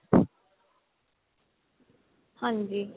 ਹਾਂਜੀ